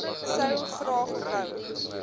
sou graag wou